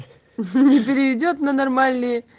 переведёт на нормальные